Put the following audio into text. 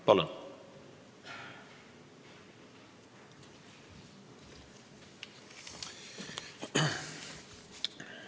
Palun!